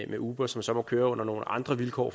med uber som så må køre under nogle andre vilkår